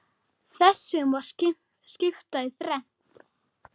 Þessu má skipta í þrennt.